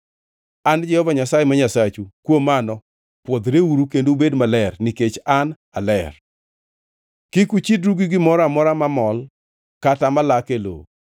An Jehova Nyasaye ma Nyasachu, kuom mano pwodhreuru kendo ubed jomaler, nikech an aler. Kik uchidru gi gimoro amora mamol kata malak e lowo.